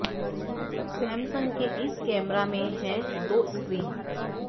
Samsung के इस camera मे हैं दो स्क्रीन